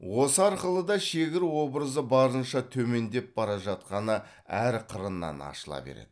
осы арқылы да шегір образы барынша төмендеп бара жатқаны әр қырынан ашыла береді